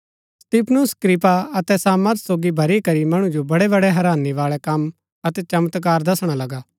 स्तिफनुस कृपा अतै सामर्थ सोगी भरी करी मणु जो बड़ेबड़े हैरानी बाळै कम अतै चमत्कार दसणा लगा